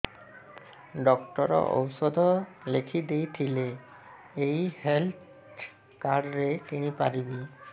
doctor ଔଷଧ ଲେଖିଦେଇଥିଲେ ଏଇ ହେଲ୍ଥ କାର୍ଡ ରେ କିଣିପାରିବି